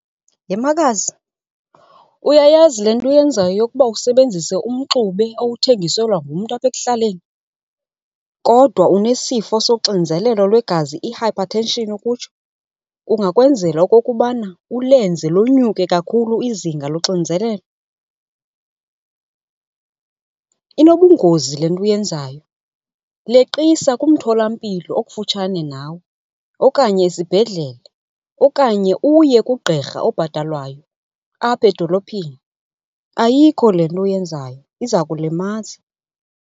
Yhe makazi, uyayazi le nto uyenzayo yokuba usebenzise umxubi owuthengiselwa ngumntu apha ekuhlaleni kodwa unesifo soxinzelelo lwegazi, i-hypertension ukutsho, kungakwenzela okokubana ulenze lonyuke kakhulu izinga loxinizelelo? Inobungozi le nto uyenzayo. Leqisa kumtholampilo okufutshane nawe okanye esibhedlele okanye uye kugqirha obhatalwayo apha edolophini. Ayikho le nto uyenzayo, iza kulimaza.